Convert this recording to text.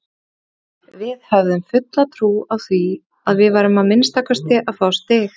Við höfðum fulla trú á því að við værum að minnsta kosti að fá stig.